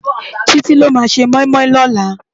Titi ló má sé moimoi lòlá